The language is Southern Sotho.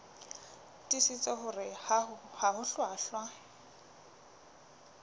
tiisitse hore ha ho hlwahlwa